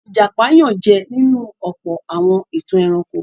Ìjàpá yànjẹ nínú ọ̀pọ̀ àwọn ìtàn ẹranko.